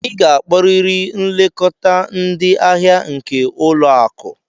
Ị ga-akpọrịrị nlekọta ndị ahịa nke ụlọ akụ!